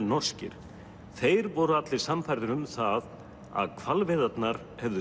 norskir þeir voru allir sannfærðir um það að hvalveiðarnar hefðu